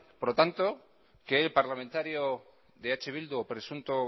por tanto que el parlamentario de eh bildu presunto